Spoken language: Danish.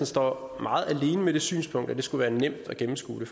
står meget alene med det synspunkt at det skulle være nemt at gennemskue